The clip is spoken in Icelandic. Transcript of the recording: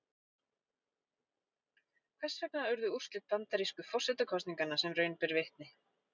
Hvers vegna urðu úrslit bandarísku forsetakosninganna sem raun ber vitni?